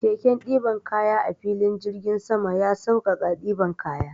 Keken ɗiban kaya a filin jirgin sama ya sauƙaƙawa ɗiban kaya.